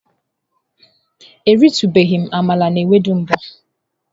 Eritubeghi m amala na ewedu mbu.